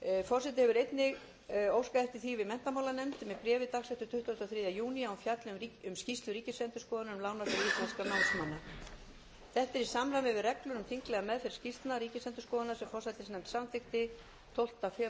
forseti hefur einnig óskað eftir því við menntamálanefnd bréfi dagsettu tuttugasta og þriðja júní að hún fjalli um skýrslu ríkisendurskoðunar um lánasjóð íslenskra námsmanna þetta er í samræmi við reglur